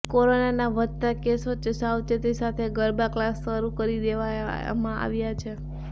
કોરોનાના વધતા કેસ વચ્ચે સાવચેતી સાથે ગરબા ક્લાસ શરૂ કરી દેવામાં આવ્યા છે